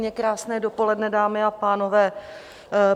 Krásné dopoledne, dámy a pánové.